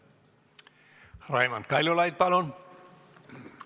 Raimond Kaljulaid, palun!